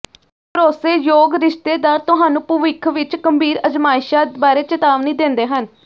ਭਰੋਸੇਯੋਗ ਰਿਸ਼ਤੇਦਾਰ ਤੁਹਾਨੂੰ ਭਵਿੱਖ ਵਿੱਚ ਗੰਭੀਰ ਅਜ਼ਮਾਇਸ਼ਾਂ ਬਾਰੇ ਚੇਤਾਵਨੀ ਦਿੰਦੇ ਹਨ